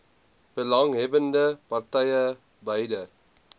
belanghebbbende partye beide